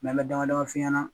an bɛ damadama f'i ɲɛna